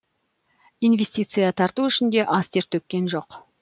инвестиция тарту үшін де аз тер төккен жоқ